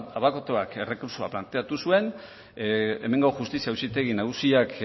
abokatuak errekurtsoa planteatu zuen hemengo justizia auzitegi nagusiak